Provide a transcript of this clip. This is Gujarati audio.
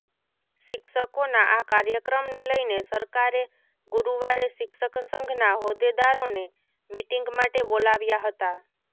શિક્ષકોના આ કાર્યક્રમને લઈને સરકારે ગુરૂવારે શિક્ષક સંઘના હોદ્દેદારોને મિટીંગ માટે બોલાવ્યા હતા